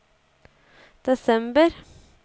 desember